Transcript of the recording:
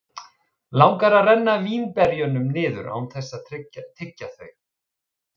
Langar að renna vínberjunum niður án þess að tyggja þau.